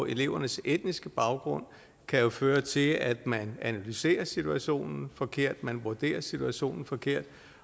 elevernes etniske baggrund kan jo føre til at man analyserer situationen forkert at man vurderer situationen forkert